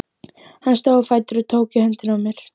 Hann stóð á fætur og tók í höndina á mér.